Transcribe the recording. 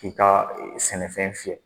K'i ka sɛnɛfɛn fiyɛ.